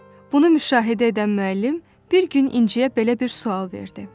Bunu müşahidə edən müəllim bir gün İnciyə belə bir sual verdi: